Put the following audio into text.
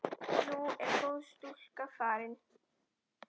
Nú er góð stúlka farin.